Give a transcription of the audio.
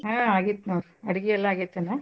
ಹಾ ಆಗಿತ್ ನೋಡ್ರಿ ಅಡ್ಗಿ ಎಲ್ಲಾ ಆಗೇತನ?